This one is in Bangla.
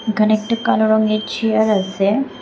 এখানে একটা কালো রঙের চেয়ার আছে।